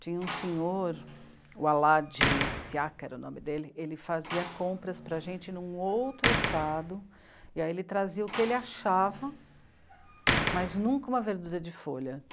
Tinha um senhor, o Aladji Siaka era o nome dele, ele fazia compras para a gente num outro estado, e aí ele trazia o que ele achava, mas nunca uma verdura de folha.